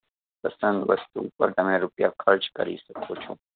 પસંદ વસ્તુ પર તમે રૂપિયા ખર્ચ કરી શકો છો.